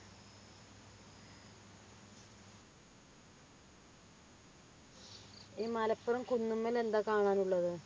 ഈ മലപ്പുറം കുന്നുമ്മൽ എന്താ കാണാനുള്ളത്